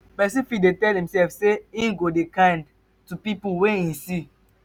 persin fit tell imself say im go dey kind to pipo wey im see